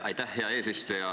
Aitäh, hea eesistuja!